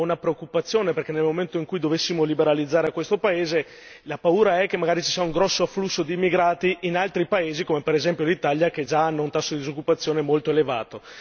Io ho una preoccupazione, perché nel momento in cui dovessimo liberalizzare questo paese la paura è che magari ci sia un grosso afflusso di immigrati, come per esempio l'Italia, che già hanno un tasso di disoccupazione molto elevato.